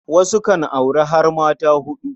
Wasu kan auri har mata huɗu.